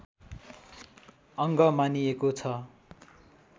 अङ्ग मानिएको छ